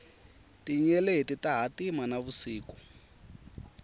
tinyeleti ta hatima na vusiku